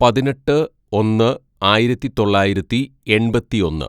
"പതിനെട്ട് ഒന്ന് ആയിരത്തിതൊള്ളായിരത്തി എണ്‍പത്തിയൊന്ന്‌